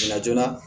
La joona